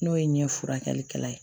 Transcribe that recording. N'o ye ɲɛ furakɛlikɛla ye